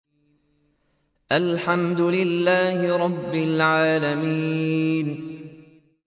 الْحَمْدُ لِلَّهِ رَبِّ الْعَالَمِينَ